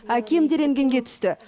әкем де рентгенге түсті